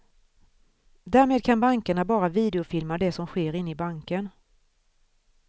Därmed kan bankerna bara videofilma det som sker inne i banken.